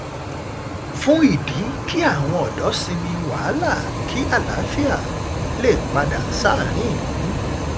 fún ìdí kí àwọn ọ̀dọ́ sinmi wàhálà kí àlàáfíà lè padà sáárín ìlú